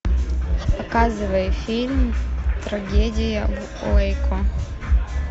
показывай фильм трагедия в уэйко